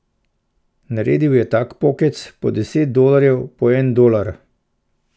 Naredil ji je tak pokec, po deset dolarjev, po en dolar.